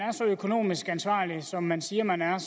er så økonomisk ansvarlig som man siger man er